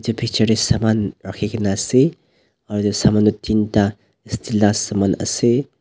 Picture dae saman rakhikena ase aro etu saman toh tinta steel la saman ase.